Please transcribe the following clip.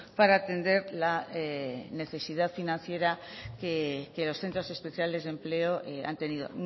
para atender la necesidad financiera que los centros especiales de empleo han tenido